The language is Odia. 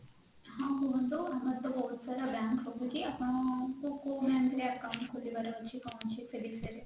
ହଁ କୁହନ୍ତୁ ଆମର ତ ବହୁତ ସାରା bank ରହୁଛି ଆପଣଙ୍କୁ କୋଉ bank ରେ account ଖୋଲିବାର ଅଛି କଣ ଅଛି ସେ ବିଷୟରେ